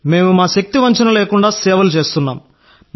మేం మా ఉత్తమ ప్రయత్నాలలో నిమగ్నమై ఉన్నాం